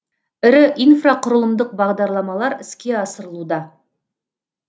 ірі инфрақұрылымдық бағдарламалар іске асырылуда